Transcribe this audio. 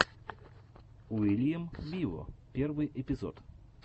уильям виво первый эпизод